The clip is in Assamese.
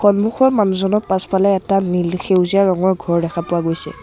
সন্মুখৰ মানুহজনৰ পাছফালে এটা মিল সেউজীয়া ৰঙৰ ঘৰ দেখা পোৱা গৈছে।